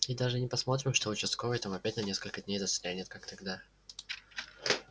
и даже не посмотрим что участковый там опять на несколько дней застрянет как тогда